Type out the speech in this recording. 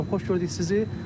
Azər müəllim, xoş gördük sizi.